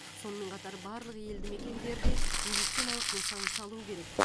сонымен қатар барлық елдімекендерде медициналық нысан салу керек